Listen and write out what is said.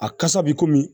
A kasa bi komi